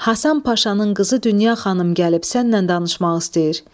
Həsən Paşanın qızı Dünya xanım gəlib sənlə danışmaq istəyir.